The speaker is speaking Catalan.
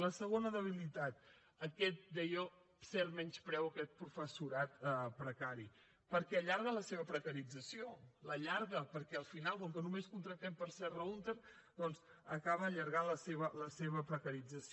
la segona debilitat aquest deia cert menyspreu a aquest professorat precari perquè allarga la seva precarització l’allarga perquè al final com que només contractem per serra húnter doncs acaba allargant la seva precarització